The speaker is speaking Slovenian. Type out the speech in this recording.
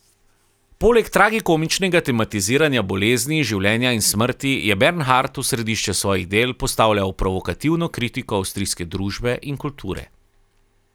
Poleg tragikomičnega tematiziranja bolezni, življenja in smrti, je Bernhard v središče svojih del postavljal provokativno kritiko avstrijske družbe in kulture.